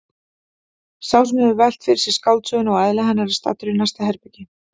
Sá sem hefur velt fyrir sér skáldsögunni og eðli hennar er staddur í næsta herbergi.